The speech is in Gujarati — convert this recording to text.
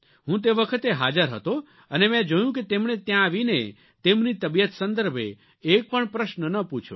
હું તે વખતે હાજર હતો અને મેં જોયું કે તેમણે ત્યાં આવીને તેમની તબિયત સંદર્ભે એક પણ પ્રશ્ન ન પૂછ્યો